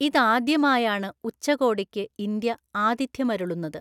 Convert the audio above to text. ഇതാദ്യമായാണ് ഉച്ചകോടിക്ക് ഇന്ത്യ ആതിഥ്യമരുളുന്നത്.